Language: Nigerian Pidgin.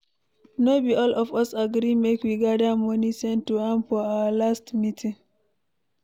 No be all of us agree make we gather money send to am for our last meeting